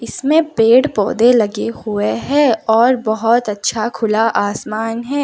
इसमें पेड़ पौधे लगे हुए हैं और बहुत अच्छा खुला आसमान है।